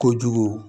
Kojugu